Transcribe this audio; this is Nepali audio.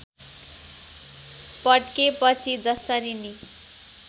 पड्केपछि जसरी नि